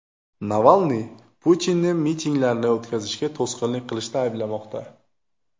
Navalniy Putinni mitinglarni o‘tkazishga to‘sqinlik qilishda ayblamoqda.